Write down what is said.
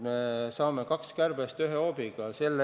Me lööme kaks kärbest ühe hoobiga.